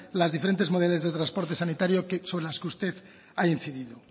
las diferentes modalidades de transporte sanitario sobre las que usted ha incidido